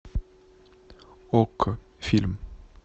окко фильм